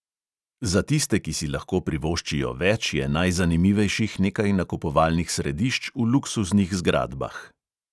Za tiste, ki si lahko privoščijo več, je najzanimivejših nekaj nakupovalnih središč v luksuznih zgradbah.